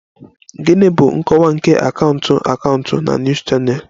Gịnị bụ nkọwa nke Akaụntụ Akaụntụ na News Channel?